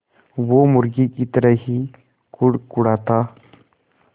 वो मुर्गी की तरह ही कुड़कुड़ाता